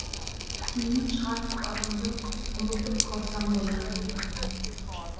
есімнен шығарып барыңды ұмытып қалсам ғой атыңды